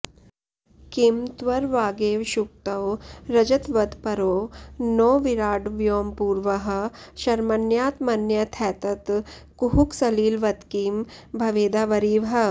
किं त्वर्वागेव शुक्तौ रजतवदपरो नो विराड् व्योमपूर्वः शर्मण्यात्मन्यथैतत्कुहकसलिलवत्किं भवेदावरीवः